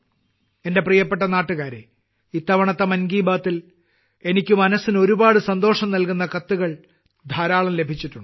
എന്റെ പ്രിയപ്പെട്ട നാട്ടുകാരെ ഇത്തവണത്തെ മൻ കി ബാത്തിൽ എനിയ്ക്ക് മനസ്സിന് ഒരുപാട് സന്തോഷം നൽകുന്ന കത്തുകൾ ധാരാളം ലഭിച്ചിട്ടുണ്ട്